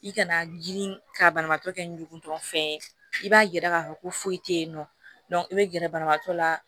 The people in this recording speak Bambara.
I kana girin ka banabaatɔ kɛ ngutɔ fɛn ye i b'a yira k'a fɔ ko foyi tɛ yen nɔ i bɛ gɛrɛ banabagatɔ la